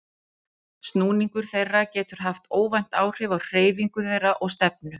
Snúningur þeirra getur haft óvænt áhrif á hreyfingu þeirra og stefnu.